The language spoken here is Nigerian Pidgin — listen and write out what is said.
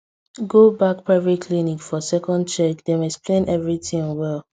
go back private clinic for second check dem explain everything well